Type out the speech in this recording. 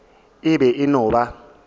e be e no ba